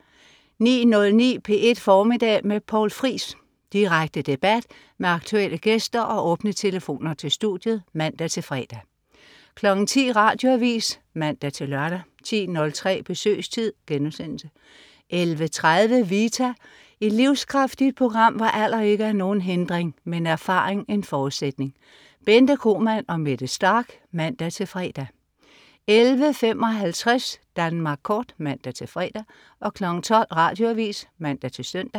09.09 P1 Formiddag med Poul Friis. Direkte debat med aktuelle gæster og åbne telefoner til studiet (man-fre) 10.00 Radioavis (man-lør) 10.03 Besøgstid* 11.30 Vita. Et livskraftigt program, hvor alder ikke er nogen hindring, men erfaring en forudsætning. Bente Kromann og Mette Starch (man-fre) 11.55 Danmark Kort (man-fre) 12.00 Radioavis (man-søn)